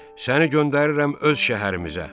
Səni göndərirəm öz şəhərimizə.